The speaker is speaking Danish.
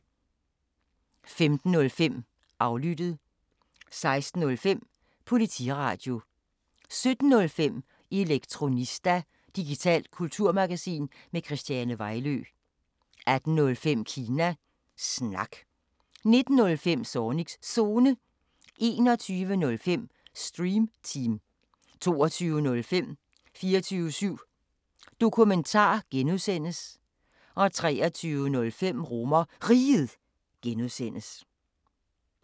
15:05: Aflyttet 16:05: Politiradio 17:05: Elektronista – digitalt kulturmagasin med Christiane Vejlø 18:05: Kina Snak 19:05: Zornigs Zone 21:05: Stream Team 22:05: 24syv Dokumentar (G) 23:05: RomerRiget (G)